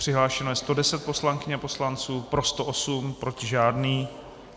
Přihlášeno je 110 poslankyň a poslanců, pro 108, proti žádný.